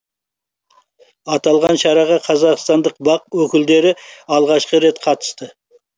аталған шараға қазақстандық бақ өкілдері алғашқы рет қатысты